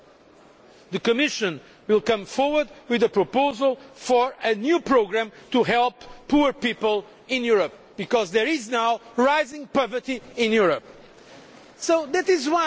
I would like to confirm that the Commission will put forward a proposal for a new programme to help poor people in Europe because there is now rising poverty in Europe.